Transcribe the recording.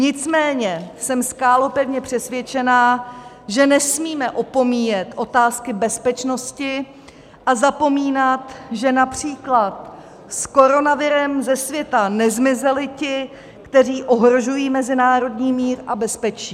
Nicméně jsem skálopevně přesvědčena, že nesmíme opomíjet otázky bezpečnosti a zapomínat, že například s koronavirem ze světa nezmizeli ti, kteří ohrožují mezinárodní mír a bezpečí.